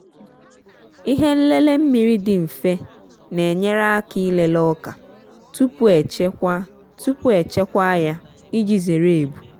ihe nlele mmiri dị mfe na-enyere aka ịlele ọka tupu echekwa tupu echekwa ya iji zere ebu.